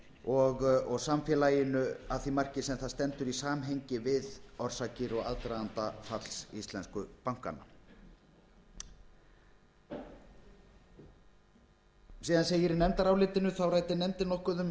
og í samfélaginu að því marki sem það stendur í samhengi við orsakir og aðdraganda falls íslensku bankanna rannsóknarnefnd á vegum alþingis síðan segir í nefndarálitinu þá ræddi nefndin nokkuð um